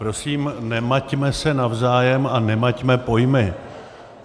Prosím, nemaťme se navzájem a nemaťme pojmy.